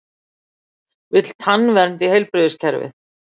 Vill tannvernd í heilbrigðiskerfið